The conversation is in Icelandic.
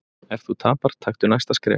Ef þú tapar, taktu næsta skref.